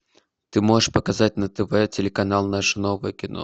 ты можешь показать на тв телеканал наше новое кино